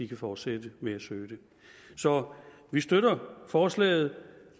kan fortsætte med at søge det så vi støtter forslaget